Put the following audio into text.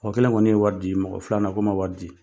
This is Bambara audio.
Mɔgɔ kelen kɔni ye wari di. Mɔgɔ filanan, k'o ma wari di.